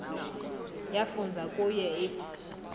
yafunza kuye if